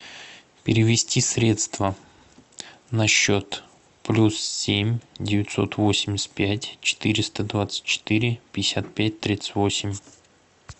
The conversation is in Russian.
перевести средства на счет плюс семь девятьсот восемьдесят пять четыреста двадцать четыре пятьдесят пять тридцать восемь